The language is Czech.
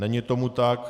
Není tomu tak.